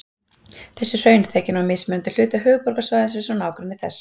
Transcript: Þessi hraun þekja nú mismunandi hluta höfuðborgarsvæðisins og nágrennis þess.